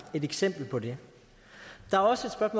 et eksempel på det der er også